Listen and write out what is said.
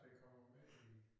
Der kom jeg med i